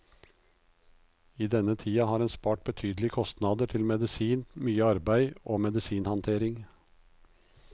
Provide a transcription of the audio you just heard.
I denne tida har en spart betydelige kostnader til medisin, mye arbeid og medisinhandtering.